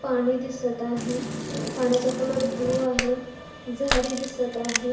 पाणी दिसत आहे पाण्याचा कलर ब्ल्यु आहे झाडे दिसत आहे.